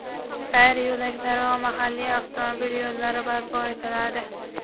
sayr yo‘laklari va mahalliy avtomobil yo‘llari barpo etiladi.